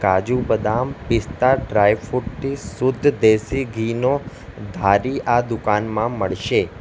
કાજુ બદામ પિશ્તા ડ્રાયફ્રૂટ થી શુદ્ધ દેશી ઘી નો ધારી આ દુકાનમાં મળશે.